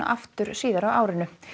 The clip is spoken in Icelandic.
aftur síðar á árinu